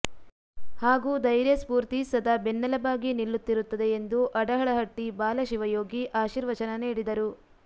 ಹಾಗೂ ಧೈರ್ಯ ಸ್ಪೂರ್ತಿ ಸದಾ ಬೆನ್ನೆಲಬಾಗಿ ನಿಲ್ಲುತ್ತಿರುತ್ತದೆ ಎಂದು ಅಡಹಳಟ್ಟಿ ಬಾಲ ಶಿವಯೋಗಿ ಆರ್ಶಿವಚನ ನೀಡಿದರು